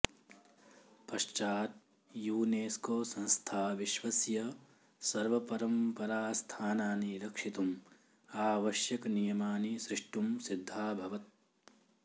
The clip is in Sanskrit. पश्चात् युनेस्कोसंस्था विश्वस्य सर्वपरम्परास्थानानि रक्षितुम् आवश्यकनियमानि सृष्टुं सिद्धाभवत्